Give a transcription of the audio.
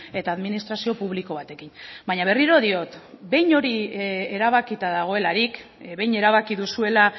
eta administrazio publiko batekin baina berriro diot behin hori erabakita dagoelarik behin erabaki duzuela